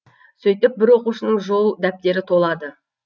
сөйтіп бір оқушының жол дәптері толады